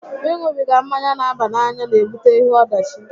Ị ṅubiga mmanya n'aba n'anya onye n'ebute ihe ọdachi